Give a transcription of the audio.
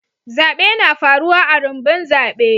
Zabe na faruwa a'rumbun zabe.